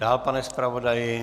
Dál, pane zpravodaji.